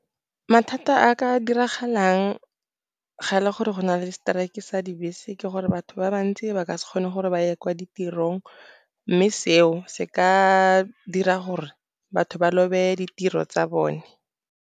Mathata a ka diragalang fa go na le strike-e sa dibese ke gore batho ba bantsi ba ka se kgone go ya kwa ditirong, mme seo se ka dira gore batho ba lobe ditiro tsa bone.